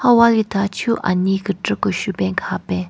Ha wali thachu anyei kechü keshvu pen kahapen.